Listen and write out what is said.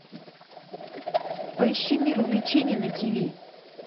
поищи мир увлечений на тиви